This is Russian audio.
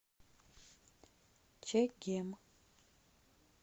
чегем